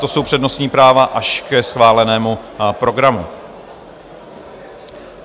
To jsou přednostní práva až ke schválenému programu.